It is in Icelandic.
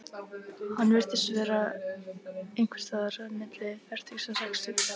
Hann virtist vera einhvers staðar milli fertugs og sextugs.